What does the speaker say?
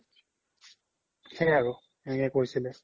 সেই আৰু এনেকে কৈছিলে